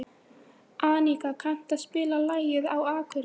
Aníka, kanntu að spila lagið „Á Akureyri“?